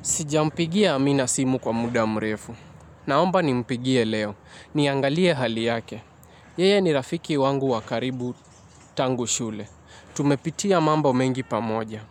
Sijampigia Amina simu kwa muda mrefu. Naomba nimpigie leo. Niangalie hali yake. Yeye ni rafiki wangu wa karibu tangu shule. Tumepitia mambo mengi pamoja.